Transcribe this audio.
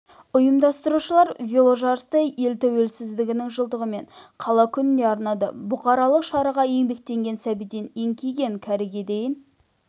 ұйымдастырушылар веложарысты ел тәуелсіздігінің жылдығы мен қала күніне арнады бұқаралық шараға еңбектеген сәбиден еңкейген кәріге дейін